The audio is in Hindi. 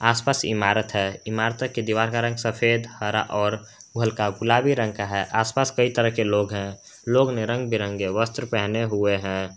आस पास इमारत है इमारतों की दीवार का रंग सफेद हरा और हल्का गुलाबी रंग का है आसपास कई तरह के लोग हैं लोग ने बिरंगे वस्त्र पहने हुए हैं।